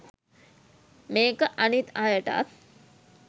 මේක අනිත් අයටත්